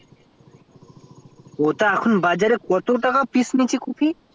ওটাই এখন বাজার এ কত টাকা পিস্ নিচ্ছে কফি